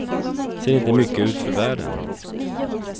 Ser inte mycket ut för världen.